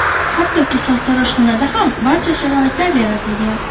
hattoki sartaroshxonada ham barcha sharoitlar yaratilgan.